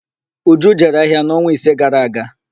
Uju jere ahịa n'ọnwa ise gara aga.